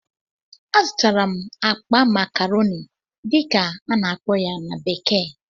Azụtara m akpa "macaroni" dịka a na-akpọ ya na bekee